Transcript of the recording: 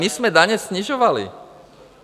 My jsme daně snižovali.